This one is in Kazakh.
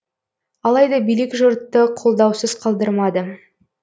алайда билік жұртты қолдаусыз қалдырмады